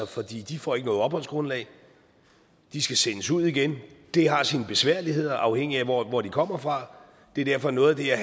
for de de får ikke noget opholdsgrundlag de skal sendes ud igen det har sine besværligheder afhængig af hvor hvor de kommer fra det er derfor at noget af det her